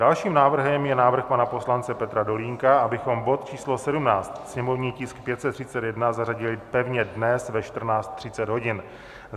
Dalším návrhem je návrh pana poslance Petra Dolínka, abychom bod číslo 17, sněmovní tisk 531, zařadili pevně dnes ve 14.30 hodin.